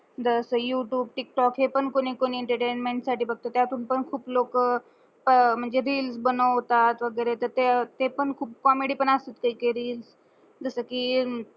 दस YouTube, TikTok हे पण कोणी कोणी एंटरटेनमेंट साटी बगत्यात. त्या तुमच खूप लोक म्हंजे रील्स बनवत्यात वगेरे ते पण खूप कॉमेडी पण असते रील तस कि